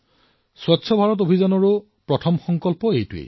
স্বচ্ছ ভাৰত অভিযানৰ প্ৰথম সংকল্পই হল এয়া